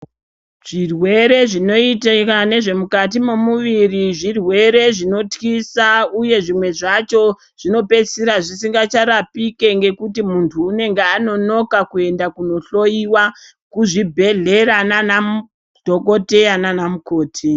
Zvirwere zvinoitika nezvemukati memuviri zvirwere zvinotyisa uye zvimwe zvacho zvinopedzisira zvisisingacharapike ngekuti munhu unonga anonoka kuenda kunohloyiwa kuzvibhelera nanadhokodheya nanamukoti.